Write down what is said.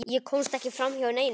Ég komst ekki framhjá neinum.